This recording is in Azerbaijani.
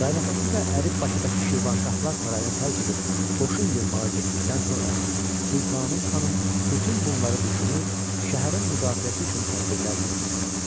Qaynatası və əri Bakıdakı Şirvanşahlar sarayını tərk edib qoşun yığmağa getdikdən sonra Sultanım xanım bütün bunları düşünür, şəhərin müdafiəsi üçün tədbirlər görürdü.